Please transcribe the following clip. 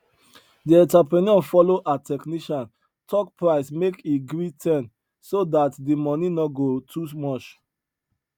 di entrepreneur follow her technician talk price make he gree ten so dat di money no go too much